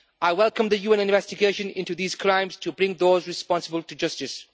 I welcome the UN investigation into these crimes to bring those responsible to justice.